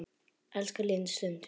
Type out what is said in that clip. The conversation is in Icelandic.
Elska líðandi stund.